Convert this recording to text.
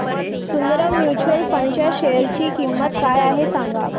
Sundaram mutual fund च्या share ची किंमत काय आहे सांगा